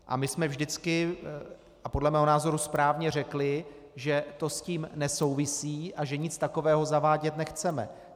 A my jsme vždycky, a podle mého názoru správně, řekli, že to s tím nesouvisí a že nic takového zavádět nechceme.